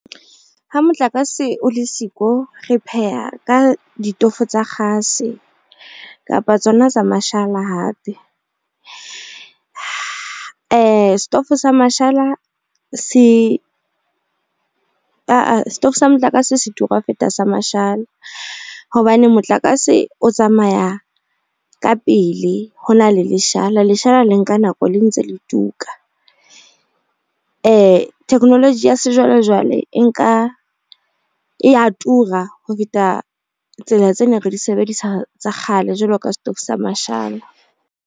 Ha motlakase o le siko, re pheha ka ditofo tsa kgase kapa tsona tsa mashala hape. Setofo sa mashala se setofo sa motlakase se tura ho feta sa mashala hobane motlakase o tsamaya ka pele ho na le leshala. Leshala le nka nako le ntse le tuka. Technology ya sejwalejwale e nka, e ya tura ho feta tsela tse neng re di sebedisa tsa kgale jwalo ka setofo sa mashala.